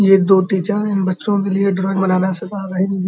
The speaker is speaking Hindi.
ये दो टीचर इन बच्चों के लिए ड्राइंग बनाना सिखा रही हैं।